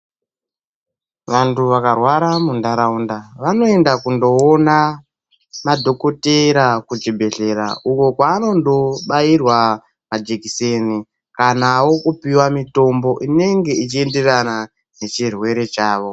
Vantu vakarwara munharaunda vanoenda kunoona madhokotera kuchibhedhlera. Uko kwaanondo bairwa majekiseni kanavo kupiva mitombo inenge ichienderana nechirwere chavo.